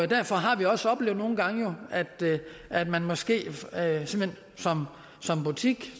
derfor har vi også oplevet nogle gange at man måske som som butik